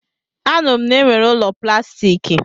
A nụrụ m na-enwere ụlọ plastiki.